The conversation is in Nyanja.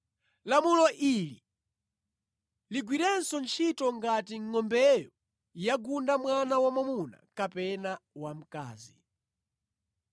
Lamulo ili ligwirenso ntchito ngati ngʼombeyo yagunda mwana wamwamuna kapena wamkazi.